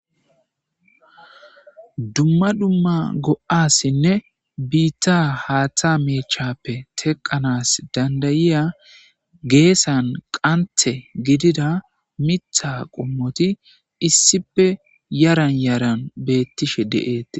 Duma duma go'asine bita hata mechape teqanas dandayiya gesan qante gidida mitha qomoti issipe yaran yaran betishe de'etes.